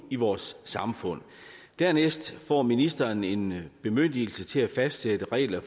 i vores samfund dernæst får ministeren en bemyndigelse til at fastsætte regler